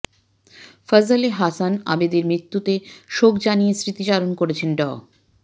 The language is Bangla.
ফজলে হাসান আবেদের মৃত্যুতে শোক জানিয়ে স্মৃতিচারণ করেছেন ড